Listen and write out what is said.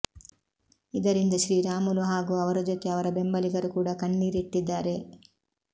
ಇದರಿಂದ ಶ್ರೀರಾಮುಲು ಹಾಗೂ ಅವರ ಜೊತೆ ಅವರ ಬೆಂಬಲಿಗರು ಕೂಡ ಕಣ್ಣೀರಿಟ್ಟದ್ದಾರೆ